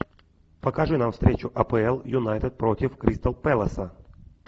покажи нам встречу апл юнайтед против кристал пэласа